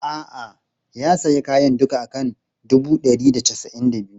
A'a, ya sayi kayan duka a kan dubu ɗari da casa'in da biyu.